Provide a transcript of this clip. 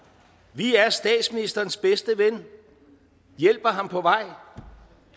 vi er statsministerens bedste ven hjælper ham på vej